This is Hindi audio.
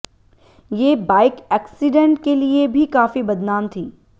ये बाइक एक्सीडेंट के लिए भी काफी बदनाम थी